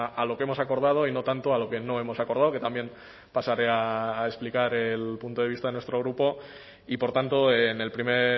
a lo que hemos acordado y no tanto a lo que no hemos acordado que también pasaré a explicar el punto de vista de nuestro grupo y por tanto en el primer